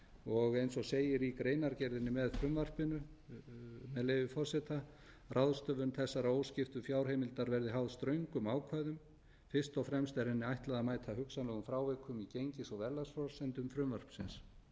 og eins og segir i greinargerðinni með frumvarpinu með leyfi forseta ráðstöfun þessarar óskiptu fjárheimildar verði háð ströngum ákvæðum fyrst og fremst er henni ætlað að mæta hugsanlegum frávikum í gengis og verðlagsforsendum frumvarpsins